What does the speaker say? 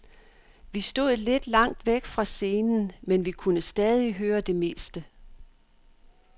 Vi stod lidt langt væk fra scenen, men vi kunne stadig høre det meste.